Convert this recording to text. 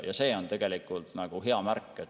Ja see on tegelikult hea märk.